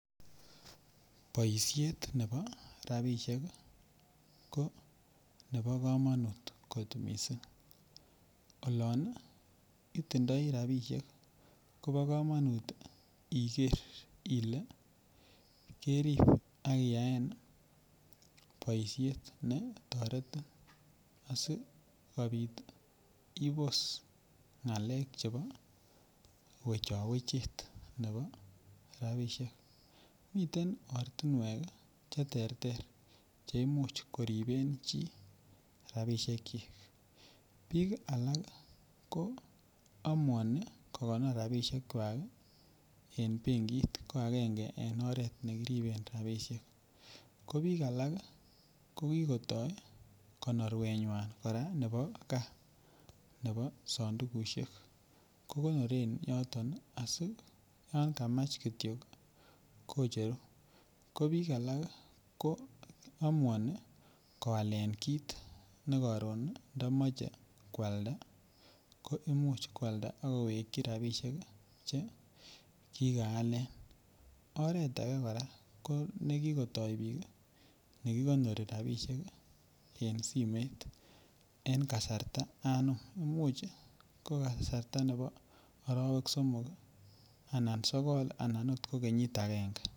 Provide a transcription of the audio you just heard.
Boishet nebo rabishek ii ko nebo komonut kot missing olon itindoi rabishek Kobo komonut iger ile kerib ak iyaen ii boishet ne toretin asi kopit ii ibos ngalek chebo wecho wechet nebo rabishek miten ortinwek che terter che imuch koriben chi rabishekyik. Biik alak ko amouni ko gonor rabishek kwak ii en benkit ko angenge en oret ne kiriben rabishek, ko biik alak ko kigoto konorwenywan koraa nebo gaa nebo sondukushek ko gonoren yoton ii asi yan kamach kityo ii kocheru. Ko biik alak ii ko amouni koalen kit ne koron ii ntomoche kwalda ko imuch kwalda ak kowekyi rabishek che kikaalen. Oret age koraa ko ne kigotoi biik ii ne kigonori rabishek ii en simoit en kasarta anum. Imuch ko kasarta nebo orowek somok ii anan sogol anan ot ko kenyit angenge